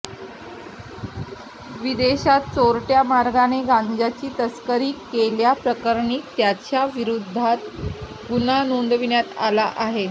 विदेशात चोरट्या मार्गाने गांजाची तस्करी केल्याप्रकरणी त्याच्याविरुद्ध गुन्हा नोंदविण्यात आला आहे